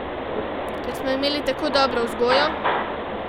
Ker smo imeli tako dobro vzgojo?